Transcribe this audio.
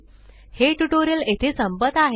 हे ट्यूटोरियल येथे संपत आहे